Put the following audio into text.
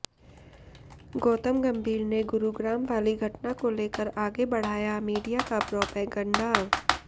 गौतम गंभीर ने गुरुग्राम वाली घटना को लेकर आगे बढ़ाया मीडिया का प्रोपगंडा